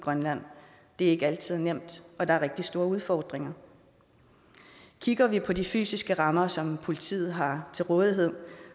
grønland det er ikke altid nemt og der er rigtig store udfordringer kigger vi på de fysiske rammer som politiet har til rådighed